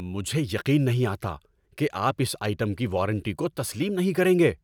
مجھے یقین نہیں آتا کہ آپ اس آئٹم کی وارنٹی کو تسلیم نہیں کریں گے۔